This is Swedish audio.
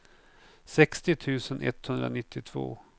sextio tusen etthundranittiotvå